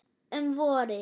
Um vorið